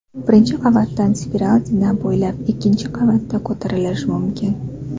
Birinchi qavatdan spiral zina bo‘ylab ikkinchi qavatga ko‘tarilish mumkin.